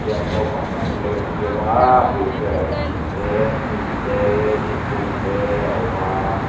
naupang pahnih anlo infiam aaa abul velah hian thing teee hnim teee thingkung teee a awm aaa--